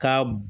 Ka